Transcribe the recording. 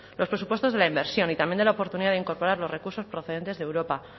los presupuestos de la inversión y también de la oportunidad de incorporar los recursos procedentes de europa